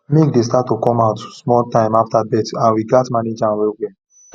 milk dey start to come out small time after birth and we gatz manage am well well